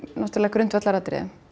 grundvallaratriði